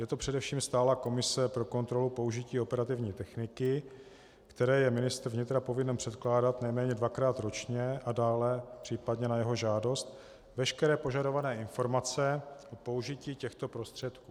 Je to především stálá komise pro kontrolu použití operativní techniky, které je ministr vnitra povinen předkládat nejméně dvakrát ročně a dále případně na jeho žádost veškeré požadované informace o použití těchto prostředků.